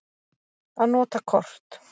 Að nota kort.